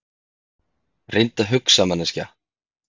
Reyndu að hugsa, manneskja.